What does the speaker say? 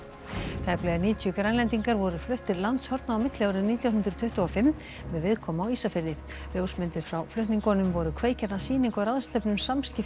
tæplega níutíu Grænlendingar voru fluttir landshorna á milli árið nítján hundruð tuttugu og fimm með viðkomu á Ísafirði ljósmyndir frá flutningunum voru kveikjan að sýningu og ráðstefnu um samskipti